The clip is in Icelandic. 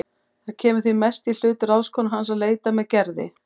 Það kemur því mest í hlut ráðskonu hans að leita með Gerði.